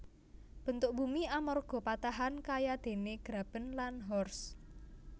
Bentuk bumi amarga patahan kayadéné graben lan horst